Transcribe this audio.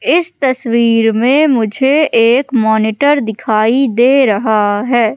इस तस्वीर में मुझे एक मॉनिटर दिखाई दे रहा है।